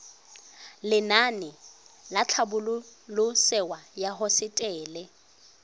lenaane la tlhabololosewa ya hosetele